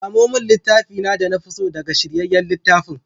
Samo min littafi na da na fi so daga shiryayyen littafin.